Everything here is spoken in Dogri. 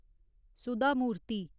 सुधा मूर्ति